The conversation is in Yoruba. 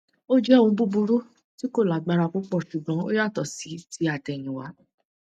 ó jẹ òórùn búburú tí kò lágbára púpọ ṣùgbọn ó yàtọ sí ti àtẹyìnwá